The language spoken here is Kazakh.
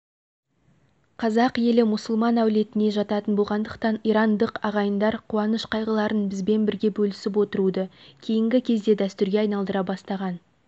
қазақ елі мұсылман әулетіне жататын болғандықтан ирандық ағайындар қуаныш-қайғыларын бізбен бірге бөлісіп отыруды кейінгі кезде дәстүрге айналдыра бастаған